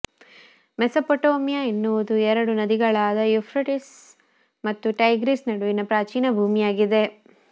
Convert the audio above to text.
Mesopotamia ಎನ್ನುವುದು ಎರಡು ನದಿಗಳಾದ ಯುಫ್ರಟಿಸ್ ಮತ್ತು ಟೈಗ್ರಿಸ್ ನಡುವಿನ ಪ್ರಾಚೀನ ಭೂಮಿಯಾಗಿದೆ